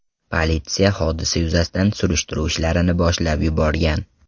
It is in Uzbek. Politsiya hodisa yuzasidan surishtiruv ishlarini boshlab yuborgan.